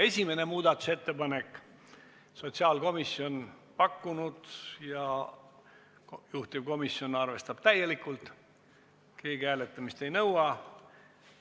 Esimese muudatusettepaneku on pakkunud sotsiaalkomisjon ja juhtivkomisjon arvestab seda täielikult, keegi hääletamist ei nõua.